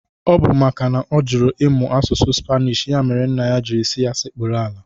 Ọ bụ maka na ọ jụrụ ịmụ asụsụ Spanish ya mere nna ya jiri si ya sekpụrụ ala